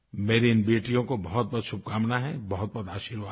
मेरी इन बेटियों को बहुतबहुत शुभकामना है बहुतबहुत आशीर्वाद है